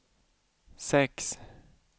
sex